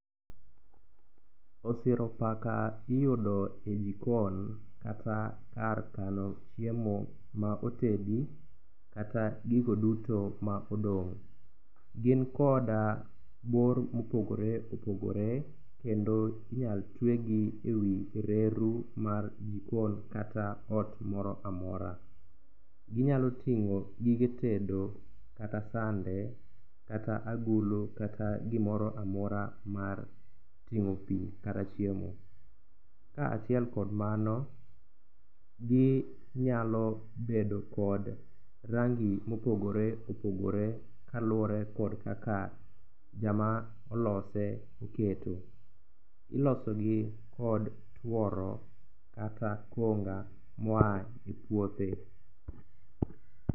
Osiro paka iyudo e jikon kata kar kano chiemo ma otedi kata gigo duto ma odong'. Gin koda bor mopogore opogore kendo inyal twegi e wi reru mar jikon kata ot moro amora. Ginyalo ting'o gige tedo kata sande kata agulu kata gimoro amora mar ting'o pi kata chiemo. Ka achiel kod mano, ginyalo bedo kod rangi mopogore opogore kaluwore kod kaka jama olose oketo. Ilosogi kod tuoro kata konga moa e puothe.